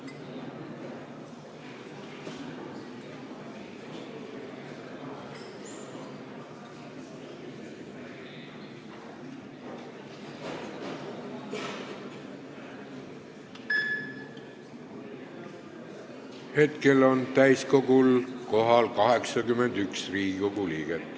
Kohaloleku kontroll Hetkel on täiskogul kohal 81 Riigikogu liiget.